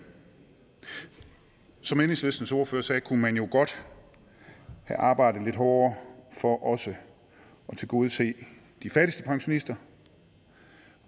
som enhedslistens ordfører sagde kunne man jo godt have arbejdet lidt hårdere for også at tilgodese de fattigste pensionister